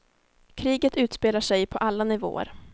Kriget utspelar sig på alla nivåer.